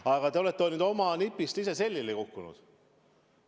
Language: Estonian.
Aga te olete oma nipist ise selili kukkunud.